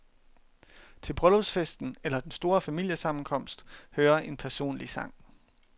Til bryllupsfesten eller den store familiesammenkomst hører en personlig sang.